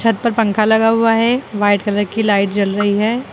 छत पर पंखा लगा हुआ है व्हाइट कलर की लाइट जल रही है।